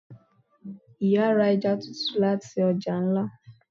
Iyá ra eja tútú latí ọja ńlá